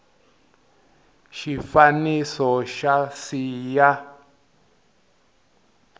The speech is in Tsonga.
wa xifaniso xa c ya